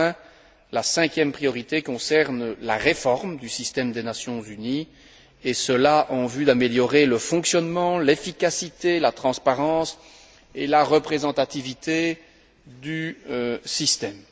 Enfin, la cinquième priorité concerne la réforme du système des Nations unies, et cela en vue d'améliorer le fonctionnement, l'efficacité, la transparence et la représentativité du système.